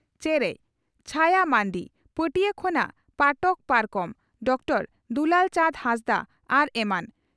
ᱪᱮᱨᱮᱡ (ᱪᱦᱟᱭᱟ ᱢᱟᱱᱰᱤ) ᱯᱟᱹᱴᱤᱭᱟᱹ ᱠᱷᱚᱱᱟᱜ ᱯᱟᱴᱚᱠ ᱯᱟᱨᱠᱚᱢ (ᱰᱨᱹ ᱫᱩᱞᱟᱹᱞ ᱪᱟᱸᱫᱽ ᱦᱟᱸᱥᱫᱟᱜ) ᱟᱨ ᱮᱢᱟᱱ ᱾